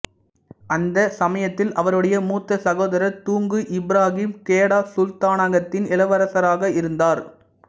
அந்தச் சமயத்தில் அவருடைய மூத்த சகோதரர் துங்கு இப்ராஹிம் கெடா சுல்தானகத்தின் இளவரசராக இருந்தார்